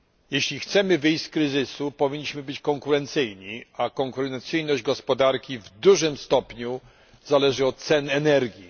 Jeśli chcemy wyjść z kryzysu, powinniśmy być konkurencyjni, a konkurencyjność gospodarki w dużym stopniu zależy od cen energii.